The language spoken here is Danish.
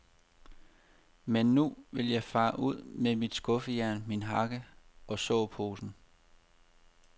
Men nu vil jeg fare ud med mit skuffejern, min hakke og såposen.